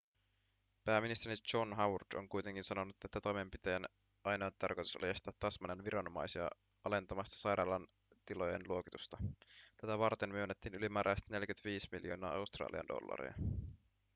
pääministeri john howard on kuitenkin sanonut että toimenpiteen ainoa tarkoitus oli estää tasmanian viranomaisia alentamasta sairaalan tilojen luokitusta tätä varten myönnettiin ylimääräiset 45 miljoonaa australian dollaria